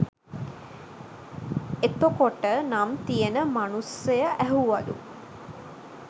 එතොකොට නම් තියෙන මනුස්සය ඇහුවලු